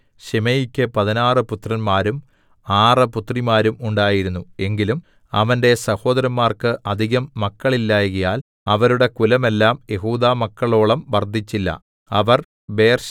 ശിമെയിക്ക് പതിനാറ് പുത്രന്മാരും ആറ് പുത്രിമാരും ഉണ്ടായിരുന്നു എങ്കിലും അവന്റെ സഹോദരന്മാർക്ക് അധികം മക്കളില്ലായ്കയാൽ അവരുടെ കുലമെല്ലാം യെഹൂദാമക്കളോളം വർദ്ധിച്ചില്ല